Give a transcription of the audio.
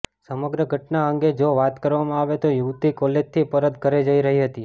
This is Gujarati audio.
સમગ્ર ઘટના અંગે જો વાત કરવામાં આવે તો યુવતી કોલેજથી પરત ઘરે જઈ રહી હતી